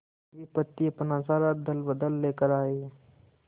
विपत्ति अपना सारा दलबल लेकर आए